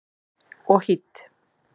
Og hýdd.